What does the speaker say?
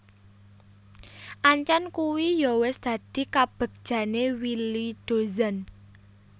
Ancen kuwi yo wis dadi kabegjane Willy Dozan